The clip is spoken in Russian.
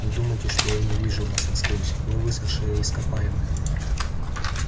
не думайте что я не вижу вас насквозь вы высохшее ископаемое